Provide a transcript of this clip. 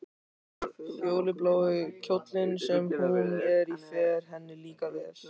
Fjólublái kjóllinn sem hún er í fer henni líka vel.